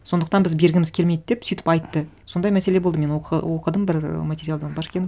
сондықтан біз бергіміз келмейді деп сөйтіп айтты сондай мәселе болды мен оқыдым бір материалдан